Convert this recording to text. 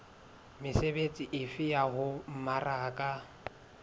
mesebetsi efe ya ho mmaraka